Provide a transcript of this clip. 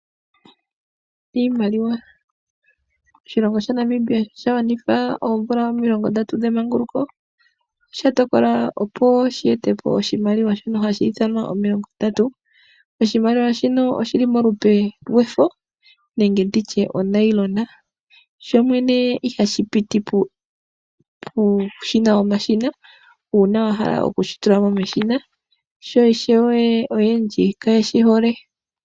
Iimaliwa. Oshilongo sha Namibia osha gwanitha oomvula omilongo ndatu dhemanguluko . Osha tokola opo shi etepo oshimaliwa shono hashi ithanwa omilongo ndatu. Oshimaliwa shino oshili molupe lwefo nenge nditye uunayilona. Sho shene ihashi piti pomashina uuna wa hala kushituka meshina sho ishewe aantu oyendji kayeshi hole.